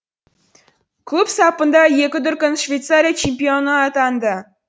клуб сапында екі дүркін швейцария чемпионы атанды